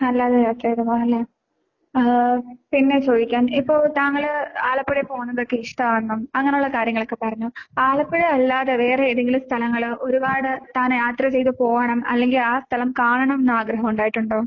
അല്ലാതെ യാത്ര ചെയ്തു പോവാല്ലേ? ആഹ് പിന്നെ ചോയിക്കാൻ ഇപ്പോൾ താങ്കള് ആലപ്പുഴയിൽ പോണതൊക്കെ ഇഷ്ടമാണ് അങ്ങനെയുള്ള കാര്യങ്ങളൊക്കെ പറഞ്ഞു. ആലപ്പുഴയല്ലാതെ വേറെ ഏതെങ്കിലും സ്ഥലങ്ങള് ഒരുപാട് താനെ യാത്ര ചെയ്തു പോവണം. അല്ലെങ്കി ആ സ്ഥലം കാണണന്ന് ആഗ്രഹമുണ്ടായിട്ടുണ്ടോ?